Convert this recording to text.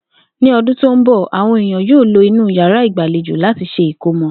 Ní o̩dún tó ń bò̩, àwo̩n èèyàn yóò lo inú yàrá ìgbàlejo láti s̩e ìkómo̩